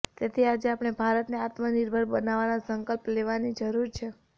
તેથી આજે આપણે ભારતને આત્મનિર્ભર બનાવવાનો સંકલ્પ લેવાની જરૂર છે